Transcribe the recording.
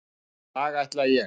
Í dag ætla ég.